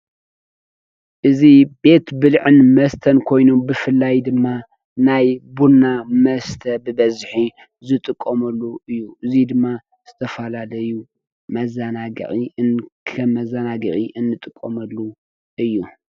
እዙይ ቤት ብልዕን መስተን ኮይኑ ብፍላይ ድማ ናይ ቡና መስተ ብበዝሒ ዝጥቀምሉ እዩ። እዙይ ድማ ዝተፈላለዩ መዘናግዒ ከም መዘናግዒ እንጥቀመሉ እዩ።